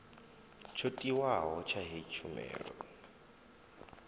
tsho tiwaho tsha heyi tshumelo